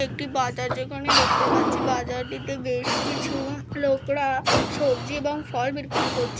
একটি বাজার যেখানে দেখতে পাচ্ছি বাজারটিতে বেশ কিছু উ লোকরা-আ সবজি এবং ফল বিক্রি করছে।